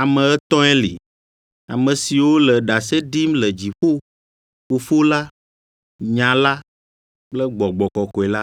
Ame etɔ̃e li, ame siwo le ɖase ɖim le dziƒo: Fofo la, Nya la kple Gbɔgbɔ kɔkɔe la,